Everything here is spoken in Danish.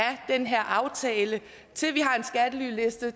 den her aftale til vi har en skattelyliste